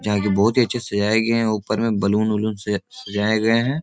जहां की बहुत ही अच्छे से सजाए गए है। ऊपर में बैलून वलून से अच्छे सजाए गए है।